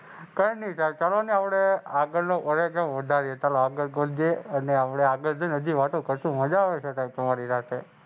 કાઇ નહીં થાય ચાલો આપણે આગળનો ફરજો નોંધાવીએ. ચાલો આપણે રોજે. અને આપણે આગળ છે ને હજી વાતો કારસું મજા આવે છે તમારી સાથે.